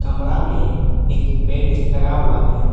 कमरा में एक बेड लगा हुआ है।